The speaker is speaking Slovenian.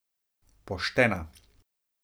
Poštena.